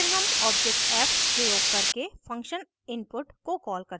फिर हम object f प्रयोग करके function input को कॉल करते हैं